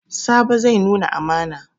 Sabo zai nuna amana.